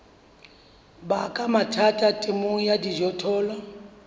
baka mathata temong ya dijothollo